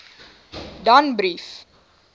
danbrief